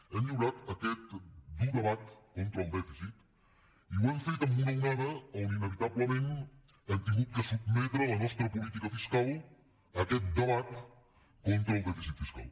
hem lliurat aquest dur debat contra el dèficit i ho hem fet amb una onada on inevitablement hem hagut de sotmetre la nostra política fiscal a aquest debat contra el dèficit fiscal